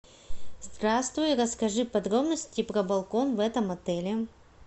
здравствуй расскажи подробности про балкон в этом отеле